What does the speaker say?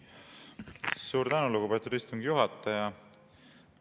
Suur tänu, lugupeetud istungi juhataja!